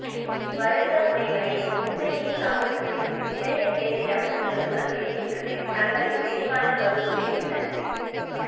வருக முனைவரே உண்மையே சமூகத்தில் நிறைய பேரிடம் இந்த குணம் இருக்கின்றது தங்களின் விரிவான கருத்துரைக்கு நன்றி